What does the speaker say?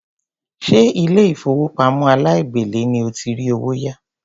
Ṣé ilé ìfowópamọ́ aláìgbèlé ni o ti rí owó yá?